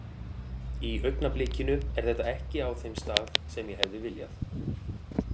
Í augnablikinu er þetta ekki á þeim stað sem ég hefði viljað.